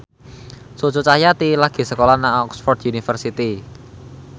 Cucu Cahyati lagi sekolah nang Oxford university